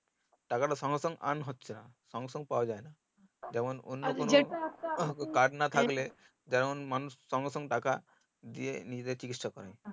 টাকাটা সঙ্গে সঙ্গে earn হচ্ছেনা সঙ্গে সঙ্গে পাওয়া যায়না যেমন অন্য কোনো যেমন মানুষ সঙ্গে সঙ্গে টাকা দিয়ে নিজেদের চিকিৎসা করেই